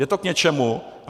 Je to k něčemu.